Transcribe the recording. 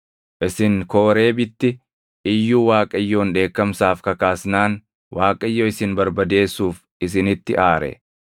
Isin Kooreebitti iyyuu Waaqayyoon dheekkamsaaf kakaasnaan Waaqayyo isin barbadeessuuf isinitti aare.